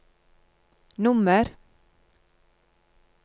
nummer